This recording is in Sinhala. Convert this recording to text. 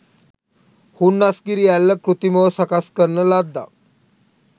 හුන්නස්ගිරි ඇල්ල කෘතිමව සකස්කරන ලද්දක්